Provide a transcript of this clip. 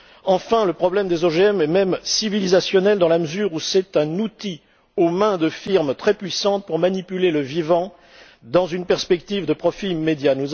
Enfin, le problème des OGM est même civilisationnel dans la mesure où c'est un outil aux mains de firmes très puissantes pour manipuler le vivant dans une perspective de profit immédiat.